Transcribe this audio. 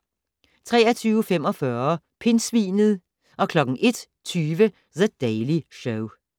23:45: Pindsvinet 01:20: The Daily Show